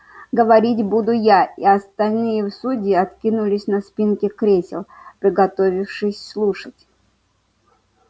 говорить буду я и остальные судьи откинулись на спинки кресел приготовившись слушать